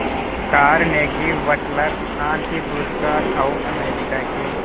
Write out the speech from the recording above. Carnegie वटलर शांति पुरस्कार और अमेरिका के